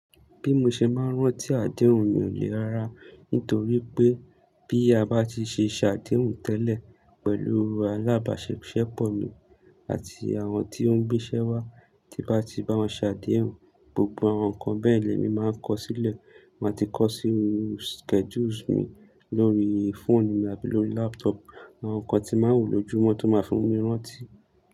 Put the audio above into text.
Bí mo ṣe máa ń rántí àdéhùn mi ò le rara nítorí pé bí a bá ti ṣe ṣàdéhùn tẹ́lẹ̀ pẹ̀lú alábàṣepọ̀ mi àti àwọn tí ó ń gbéṣẹ́ wá, tí bá ti bá wọn ṣàdéhùn, gbogbo àwọn nǹkan bẹ́ẹ̀ lè mi máa ń kọ sílẹ̀. Màá ti kọ sínú schedules mi lórí fóònù mi àbí lórí laptop. Àwọn nǹkan tí màá wò lójoojúmọ́ tó máa fi mú mi rántí.